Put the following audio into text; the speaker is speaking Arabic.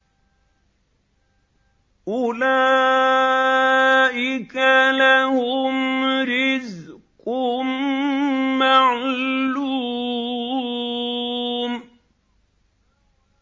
أُولَٰئِكَ لَهُمْ رِزْقٌ مَّعْلُومٌ